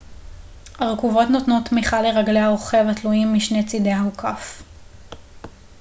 ארכובות נותנות תמיכה לרגלי הרוכב התלויים משני צידי האוכף